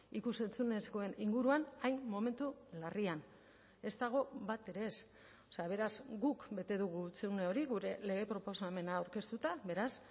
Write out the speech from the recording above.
ikus entzunezkoen inguruan hain momentu larrian ez dago batere ez beraz guk bete dugu hutsune hori gure lege proposamena aurkeztuta beraz